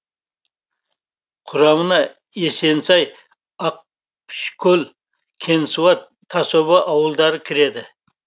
құрамына есенсай ақшкол кеңсуат тасоба ауылдары кіреді